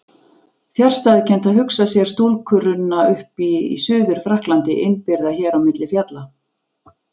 Fjarstæðukennt að hugsa sér stúlku runna upp í Suður-Frakklandi innibyrgða hér á milli fjalla.